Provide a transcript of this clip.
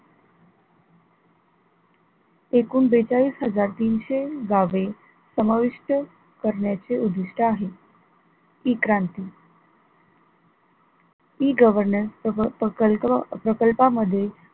एकूण बेचाळीस हजार तीनशे गावे समाविष्ट करण्याचे उद्दिष्ट आहे, E क्रांती E governance सह प्रकल्प प्रकल्पामध्ये,